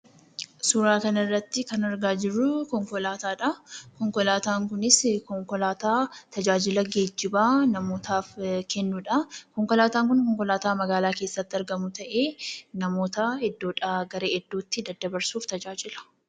Suuraa kanarratti kan argaa jirru konkolaataadhaa. Konkolaataan kunis konkolaataa tajaajila geejjibaa namootaaf kennudha. Konkolaataan kun konkolaataa magaalaa keessatti argamu ta'ee namootaa iddoodhaa gara iddootti daddabarsuuf tajaajila.